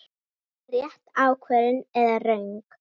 Rétt ákvörðun eða röng?